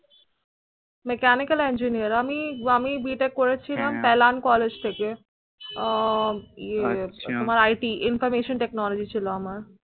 Mechanical Engineer আমি আমি B. Tec করে ছিলাম Pailan College থেকে। আহ ইয়ে আচ্ছা তোমার IT Information Technology ছিলো আমার।